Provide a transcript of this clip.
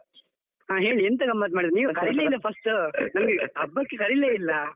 ಆ ಹೇಳಿ ಎಂತ ಗಮ್ಮತ್ ಮಾಡಿದ್ದೀರಿ, ನೀವು ಕರೀಲೆ ಇಲ್ಲಾ first ನಮ್ಗೆ ಹಬ್ಬಕ್ಕೆ ಕರೀಲೆ ಇಲ್ಲ.